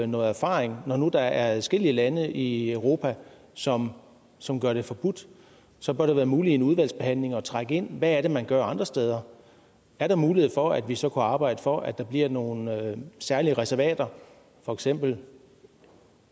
noget erfaring når der nu er adskillige lande i europa som som gør det forbudt så bør det være muligt i en udvalgsbehandling at trække ind hvad er man gør andre steder er der mulighed for at vi så kunne arbejde for at der bliver nogle særlige reservater for eksempel et